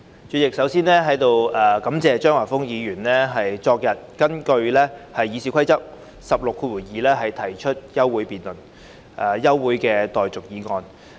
主席，首先感謝張華峰議員昨天根據《議事規則》第162條提出休會待續議案。